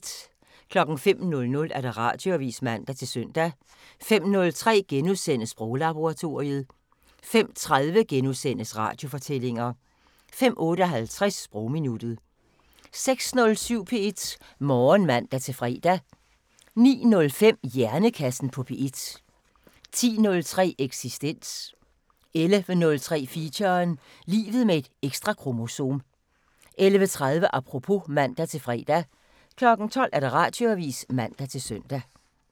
05:00: Radioavisen (man-søn) 05:03: Sproglaboratoriet * 05:30: Radiofortællinger * 05:58: Sprogminuttet 06:07: P1 Morgen (man-fre) 09:05: Hjernekassen på P1 10:03: Eksistens 11:03: Feature: Livet med et ekstra kromosom 11:30: Apropos (man-fre) 12:00: Radioavisen (man-søn)